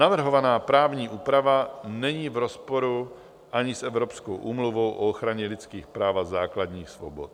Navrhovaná právní úprava není v rozporu ani s Evropskou úmluvou o ochraně lidských práv a základních svobod.